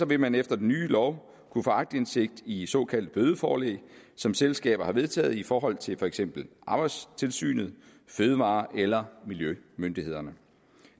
vil man efter den nye lov kunne få aktindsigt i såkaldte bødeforelæg som selskaber har vedtaget i forhold til for eksempel arbejdstilsynet fødevare eller miljømyndighederne